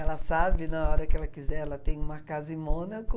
Ela sabe, na hora que ela quiser, ela tem uma casa em Mônaco.